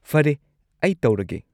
ꯐꯔꯦ, ꯑꯩ ꯇꯧꯔꯒꯦ꯫